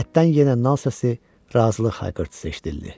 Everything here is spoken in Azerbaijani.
Həyətdən yenə nal səsi, razılıq hayqırtısı eşidildi.